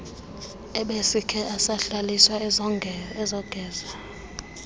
ebesikhe asabhaliswa ezongeza